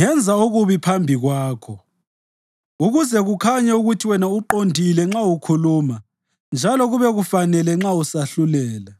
ngenza okubi phambi kwakho, ukuze kukhanye ukuthi wena uqondile nxa ukhuluma njalo kube kufanele nxa usahlulela.